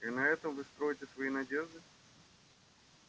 и на этом вы строите свои надежды